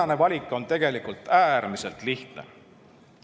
Tänane valik on tegelikult äärmiselt lihtne.